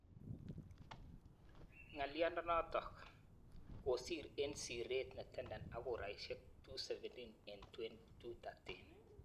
Ng'aliondonotok kosiir eng sireet netenden ak kuraisiek 217 eng 213.